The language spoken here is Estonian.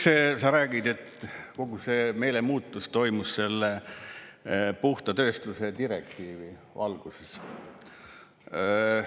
Sa räägid, et kogu see meelemuutus toimus selle puhta tööstuse direktiivi valguses.